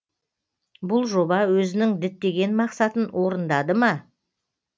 бұл жоба өзінің діттеген мақсатын орындады ма